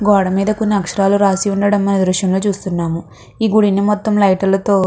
గోడ మీద అక్షరాలు రాసి ఉండడం మనం ఈ దృశ్యం లో చూస్తున్నాము. ఈ గుది మొత్తం లైట్ లతో --